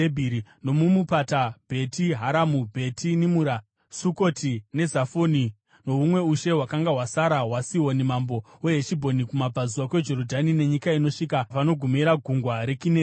nomumupata, Bheti Haramu, Bheti Nimura, Sukoti neZafoni nohumwe ushe hwakanga hwasara hwaSihoni mambo weHeshibhoni, (kumabvazuva kweJorodhani nenyika inosvika panogumira Gungwa reKinereti).